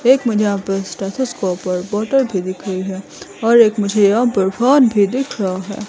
एक मुझे यहां पर स्टैथौस्कोप और बॉटल भी दिख रही है और एक मुझे यहां पर फैन भी दिख रहा है।